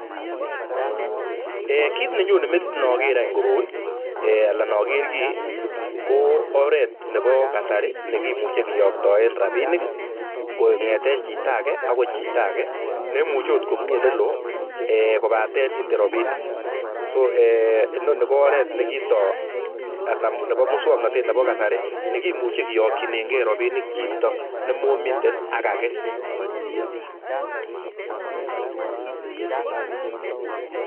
Ee kit nenyone metit inoger any koroi ala inoger kii ko oret nepo kasari nekimuche kiyoktoen rapinik kong'eten chito age agoi chito age neimuche ot komi olelo ee kobaten ite rapinik,[so]ee inoni ko oret nekitoo anan nepo musuoknotet nepo kasari nekimuche kiyokyinenge rapinik chito nemomiten ak age.